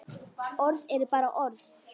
Orð eru bara orð.